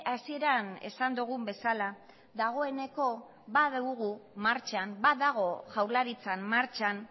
hasieran esan dugun bezala dagoeneko badugu martxan badago jaurlaritzan martxan